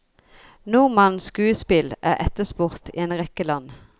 Nordmannens skuespill er etterspurt i en rekke land.